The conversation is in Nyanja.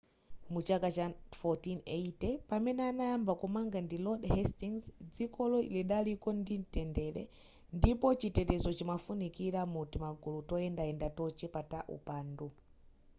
mu chaka cha 1480 pamene adayamba kumanga ndi lord hastings dzikolo lidaliko la mtendere ndipo chitetezo chimafunikira mu timagulu toyendayenda tochepa ta upandu